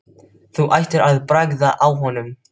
Þú ættir að bragða á honum